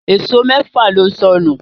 Èṣó méfà ló sọnù